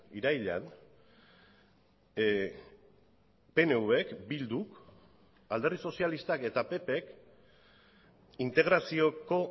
irailean pnvk bilduk alderdi sozialistak eta ppk integrazioko